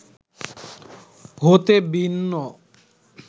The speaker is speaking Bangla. হতে ভিন্ন